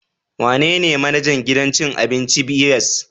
Wanene manajan gidan ci abinci ibys